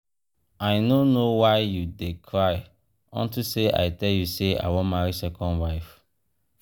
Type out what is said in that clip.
i no know why you dey cry unto say i tell you say i wan marry second wife.